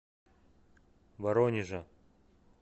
воронежа